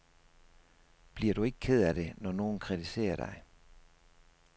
Bliver du ikke ked af det, når nogen kritiserer dig?